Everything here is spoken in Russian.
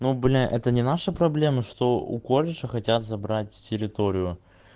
но бля это не наша проблема что у колледжа хотят забрать территорию